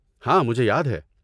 ہاں مجھے یاد ہے۔